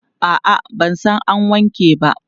A'a, ba sai an wanke ba.